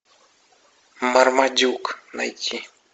мармадюк найти